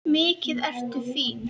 Mikið ertu fín!